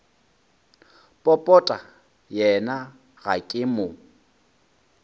popota yena ga ke mo